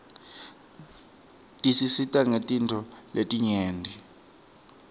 tisisita ngetintfo letinyeti